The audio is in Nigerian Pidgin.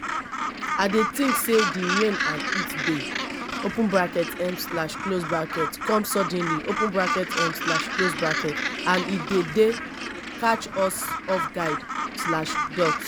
i dey think say di rain and heat dey um come suddenly um and e dey dey catch us off guard.